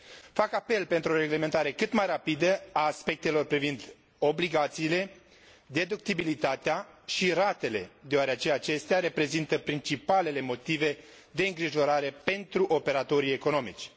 Fac apel la o reglementare cât mai rapidă a aspectelor privind obligațiile, deductibilitatea și ratele, deoarece acestea reprezintă principalele motive de îngrijorare pentru operatorii economici.